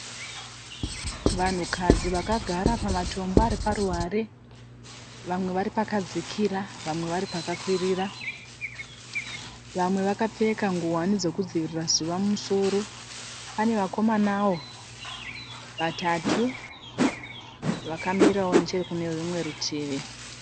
Vanhukadzi vakagara pamatombo ariparuware. Vamwe vari pakadzikira vamwe vari pakakwirira. Vamwe vakapfeka ngohwani dzekudzivirira zuva mumusoro. Pane vakomanawo vatatu vakamirawo neche kune rimwe rutivi.